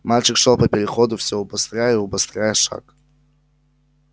мальчик шёл по переходу все убыстряя и убыстряя шаг